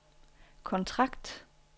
kontrakt